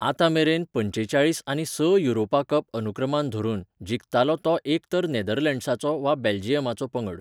आतांमेरेन, पंचेचाळीस आनी स युरोपा कप अनुक्रमान धरून, जिखतालो तो एक तर नेदर्लंड्साचो वा बेल्जियमाचो पंगड.